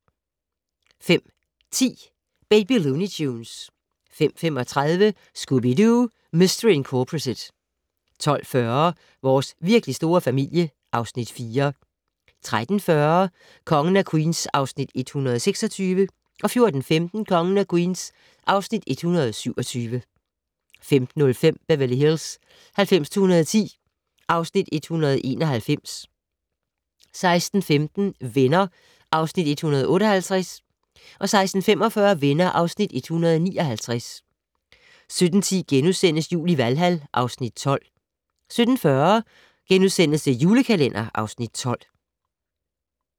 05:10: Baby Looney Tunes 05:35: Scooby-Doo! Mistery Incorporated 12:40: Vores virkelig store familie (Afs. 4) 13:40: Kongen af Queens (Afs. 126) 14:15: Kongen af Queens (Afs. 127) 15:05: Beverly Hills 90210 (Afs. 191) 16:15: Venner (Afs. 158) 16:45: Venner (Afs. 159) 17:10: Jul i Valhal (Afs. 12)* 17:40: The Julekalender (Afs. 12)*